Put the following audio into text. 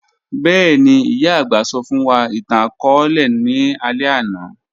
Bẹẹni, iyà agbà sọ fun wa itan-akọọlẹ ni alẹ ana.